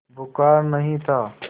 बुखार नहीं था